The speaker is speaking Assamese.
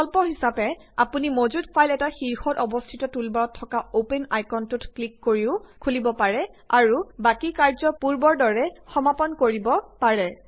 বিকল্প হিচাপে আপুনি মজুত ফাইল এটা শিৰ্ষত অৱস্থিত টুলবাৰত থকা অপেন আইকনটোত ক্লিক কৰিও খুলিব পাৰে আৰু বাকি কাৰ্য্য পূৰ্বৰ দৰে সমাপন কৰিব পাৰে